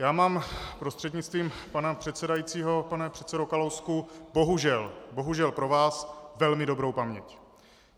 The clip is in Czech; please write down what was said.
Já mám, prostřednictvím pana předsedajícího pane předsedo Kalousku, bohužel, bohužel pro vás velmi dobrou paměť.